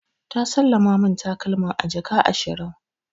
Ta sallama min takalman a jaka ashirin.